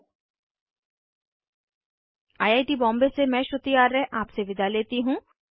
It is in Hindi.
httpspoken tutorialorgNMEICT Intro I I T Bombay से मैं श्रुति आर्य आपसे विदा लेती हूँ